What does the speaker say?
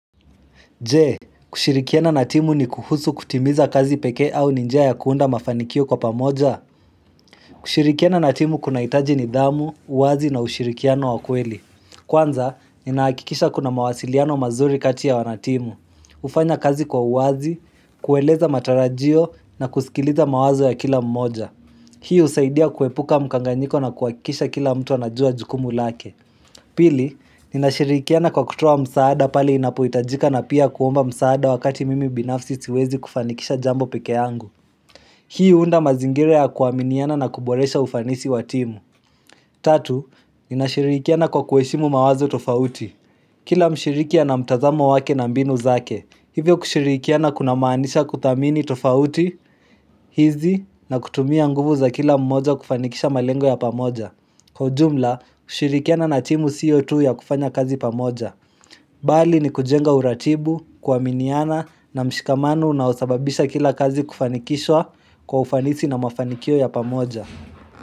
Je?, Kushirik iana natimu ni kuhusu kutimiza kazi peke au ni njia ya kuunda mafanikio kwa pamoja? Kushirikiana natimu kunahitaji nidhamu, uwazi na ushirikiano wa ukweli. Kwanza, ninahakikisha kuna mawasiliano mazuri kati ya wanatimu. Kufanya kazi kwa uwazi, kueleza matarajio na kusikiliza mawazo ya kila mmoja. Hii usaidia kuepuka mkanganyiko na kuakisha kila mtu anajua jukumu lake. Pili, ninashirikiana kwa kutuwa msaada pale inapuitajika na pia kuomba msaada wakati mimi binafsi siwezi kufanikisha jambo peke yangu. Hii huunda mazingire ya kuaminiana na kuboresha ufanisi wa timu. Tatu, ninashirikiana kwa kueshimu mawazo tofauti. Kila mshiriki ana mtazamo wake na mbinu zake. Hivyo kushirikiana kuna maanisha kuthamini tofauti, hizi, na kutumia nguvu za kila mmoja kufanikisha malengo ya pamoja. Kwa jumla, kushirikiana na timu sio tu ya kufanya kazi pamoja Bali ni kujenga uratibu, kuaminiana na mshikamano unosababisha kila kazi kufanikishwa kwa ufanisi na mafanikio ya pamoja.